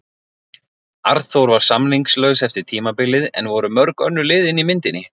Arnþór var samningslaus eftir tímabilið en voru mörg önnur lið inni í myndinni?